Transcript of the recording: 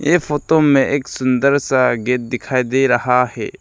इस फोतो में एक सुंदर सा गेट दिखाई दे रहा हे।